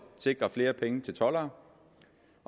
sikre flere penge til toldere